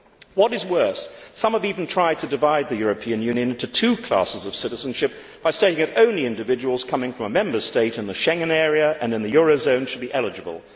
What is worse, some have even tried to divide the European Union into two classes of citizenship by saying that only individuals coming from a Member State in the Schengen area and in the euro area should be eligible.